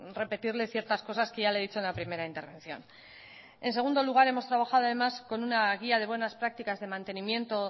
repetirle ciertas cosas que ya le he dicho en la primera intervención en segundo lugar hemos trabajado además con una guía de buenas prácticas de mantenimiento